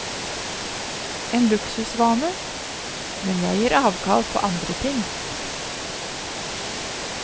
En luksusvane, men jeg gir avkall på andre ting.